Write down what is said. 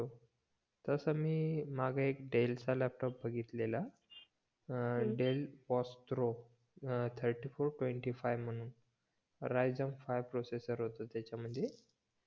तस मी मागे एक डेल चा लॅपटॉप बघितलेला अं डेल पास्ट्रो अं थर्टी फोर ट्वेंटी फाईव्ह म्हणून रयसन फाईव्ह प्रोसेसर होता त्याच्या मध्ये